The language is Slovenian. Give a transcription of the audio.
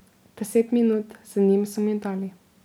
Deset minut z njim so mi dali.